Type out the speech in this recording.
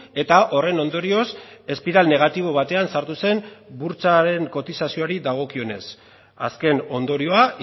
eta horren ondorioz espiral negatibo batean sartu zen burtsaren kotizazioari dagokionez azken ondorioa